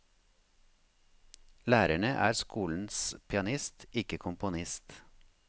Lærerne er skolens pianist, ikke komponist.